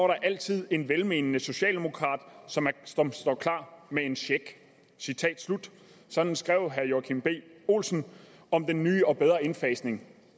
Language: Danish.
der altid en velmenende socialdemokrat som står klar med en check sådan skrev herre joachim b olsen om den nye og bedre indfasning